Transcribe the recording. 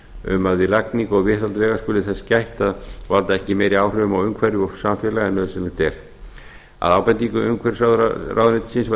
við lagningu og viðhald vega skuli þess gætt að valda ekki meiri áhrifum á umhverfi og samfélagi heldur en nauðsynlegt er að ábendingu umhverfisráðuneytisins var tekin